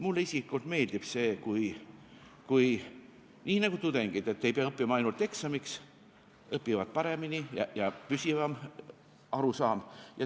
Mulle isiklikult meeldib see, kui on nii, nagu ka tudengitel – et kui ei pea õppima ainult eksamiks, siis õpitakse paremini ja jääb püsivam arusaam.